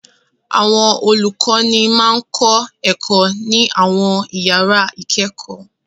Àwọn olùkọ́ní máa ń kọ́ ẹ̀kọ́ ní àwọn ìyàrá-ìkẹ́kọ̀ọ́.